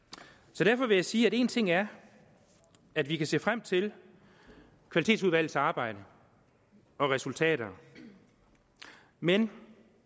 så derfor vil jeg sige at én ting er at vi kan se frem til kvalitetsudvalgets arbejde og resultater men